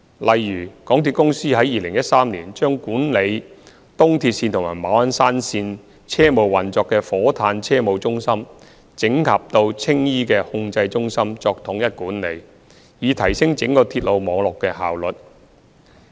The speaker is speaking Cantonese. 例如，港鐵公司在2013年將管理東鐵線及馬鞍山線車務運作的火炭車務中心整合到青衣的控制中心作統一管理，以提升整個鐵路網絡的效率。